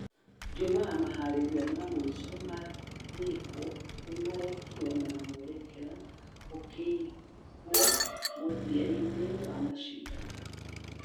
jumaa meharĩria ma mũisho magĩkwo ni marekirwo na mwerekera ũkĩigwo mũthia-inĩ wa mashidano.